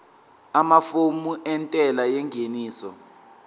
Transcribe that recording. amafomu entela yengeniso